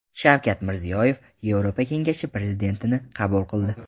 Shavkat Mirziyoyev Yevropa kengashi prezidentini qabul qildi.